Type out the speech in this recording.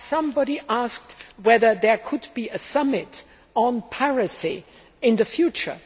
Somebody asked whether there could be a summit on piracy in the future.